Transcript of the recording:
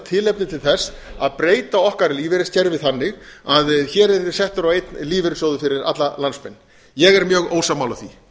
tilefni til þess að breyta okkar lífeyriskerfi banni að hér yrði settur á einn lífeyrissjóður fyrir alla landsmenn ég er mjög ósammála því